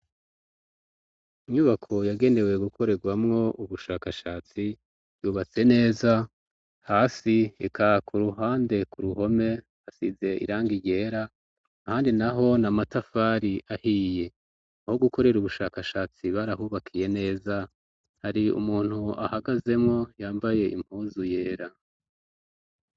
inyubako yagenewe gukorerwamwo ubushakashatsi yubatse neza hasi reka ku ruhande ku ruhome hasize irangi ryera ahandi naho na matafari ahiye aho gukorera ubushakashatsi barahubakiye neza hari umuntu ahagazemwo yambaye impuzu yera